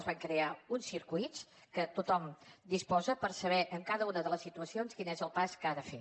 es van crear uns circuits que tothom en disposa per saber en cada una de les situacions quin és el pas que ha de fer